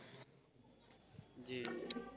জি জি জি,